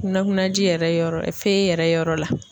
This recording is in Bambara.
Kunnakunnaji yɛrɛ yɔrɔ yɛrɛ yɔrɔ la